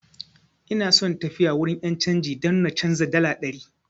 Ina so tafiya wurin 'yan canji don na canza dala ɗari.